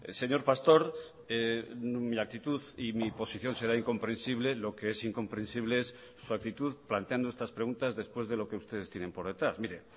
señor pastor mi actitud y mi posición será incomprensible lo que es incomprensible es su actitud planteando estas preguntas después de lo que ustedes tienen por detrás mire